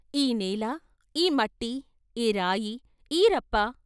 ఈ నేల, ఈ మట్టి, ఈ రాయి, ఈ రప్ప.